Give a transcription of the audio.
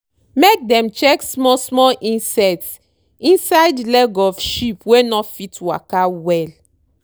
make dem check small small insect inside leg of sheep wey no fit waka well.